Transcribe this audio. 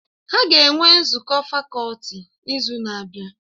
Ha ga-enwe nzukọ fakọlti n'izu na-abịa